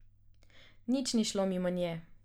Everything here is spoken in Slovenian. Nič ni šlo mimo nje.